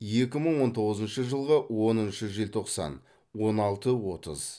екі мың он тоғызыншы жылғы оныншы желтоқсан он алты отыз